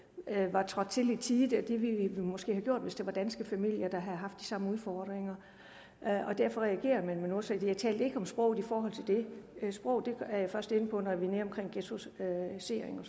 var trådt til i tide det ville vi måske have gjort hvis det var danske familier der havde haft de samme udfordringer derfor reagerer man med noget så jeg talte ikke om sproget i forhold til det sproget er jeg først inde på når vi